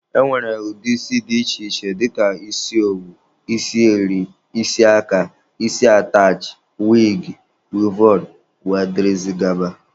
E nwere ụdị isi dị iche iche dịka isi owu, isi eri, isi aka, isi atachị, wigi, wivọn wdg.